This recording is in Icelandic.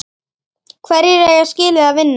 Hverjir eiga skilið að vinna?